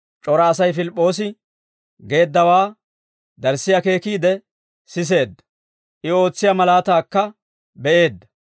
C'ora Asay Pilip'p'oosi geeddawaa darssi akeekiide siseedda; I ootsiyaa malaataakka be'eedda.